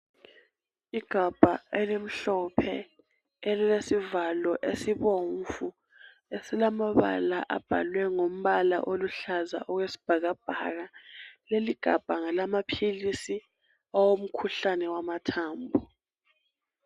Igabha elimhlophe elilesivalo esibomvu, esilamabala abhalwe ngombala oluhlaza okwesibhakabhaka. Leligabha ngelamaphilisi awomkhuhlane wamathambo.